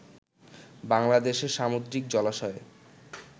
বাংলাদেশে সামুদ্রিক জলাশয়ের